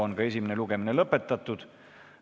Esimene lugemine on lõpetatud.